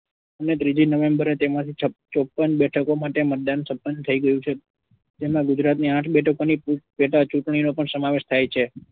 ત્રીજી november એ તેમાંથી ચોપન બેઠકો માટે મતદાન સંપન્ન થઇ ગયું છે જેમાં ગુજરાતની આઠ બેઠકોની પેટા ચુંટણીનો પણ સમાવેશ થાય છે.